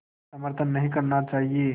में समर्थन नहीं करना चाहिए